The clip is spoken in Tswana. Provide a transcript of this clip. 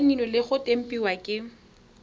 saenilwe le go tempiwa ke